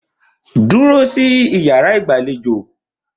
Dúró sí iyàrá ìgbàlejò!